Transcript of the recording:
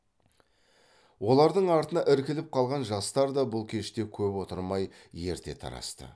олардың артына іркіліп қалған жастар да бұл кеште көп отырмай ерте тарасты